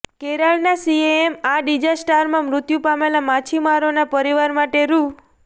કેરળના સીએમએ આ ડિઝાસ્ટરમાં મૃત્યુ પામેલા માછીમારોના પરિવાર માટે રૂ